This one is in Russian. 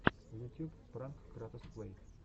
ютюб пранк кратос плэй